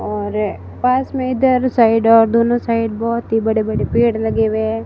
और पास में इधर साइड और दोनों साइड बहोत ही बड़े बड़े पेड़ लगे हुए--